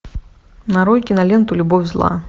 нарой киноленту любовь зла